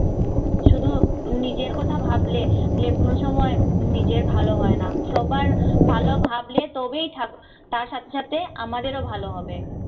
শুধু নিজের কথা ভাবলে, কোন সময় নিজের ভালো হয় না। সবার ভালো ভাবলে তবেই ঠাকুর তার সাথে সাথে আমাদেরও ভালো হবে।